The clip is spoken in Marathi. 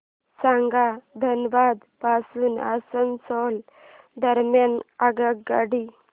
सांगा धनबाद पासून आसनसोल दरम्यान आगगाडी